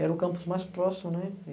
Era o campus mais próximo, né?